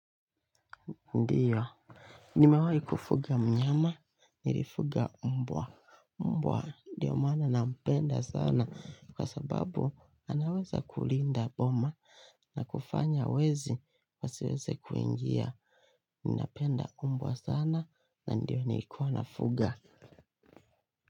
Ndio. Nimewahi kufuga mnyama, nilifuga mbwa. Mbwa ndio mana nampenda sana kwa sababu anaweza kulinda boma na kufanya wezi wasiweze kuingia. Ninapenda mbwa sana na ndiyo niikuwa nafuga.